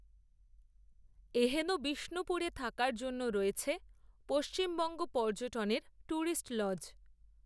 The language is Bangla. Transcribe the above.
এহেন বিষ্ণুপুরে থাকার জন্য, রয়েছে পশ্চিমবঙ্গ পর্যটনের, ট্যুরিস্ট লজ